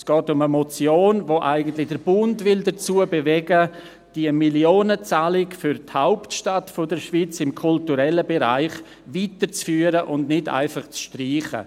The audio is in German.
Es geht um eine Motion, die den Bund dazu bewegen will, die Millionenzahlung für die Hauptstadt der Schweiz im kulturellen Bereich weiterzuführen und sie nicht einfach zu streichen.